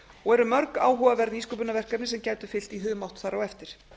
og eru mörg áhugaverð nýsköpunarverkefni sem gætu fylgt í humátt þar á eftir